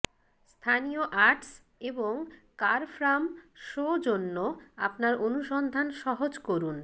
স্থানীয় আর্টস এবং কারফ্রাম শো জন্য আপনার অনুসন্ধান সহজ করুন